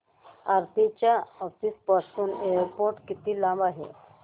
आरती च्या ऑफिस पासून एअरपोर्ट किती लांब आहे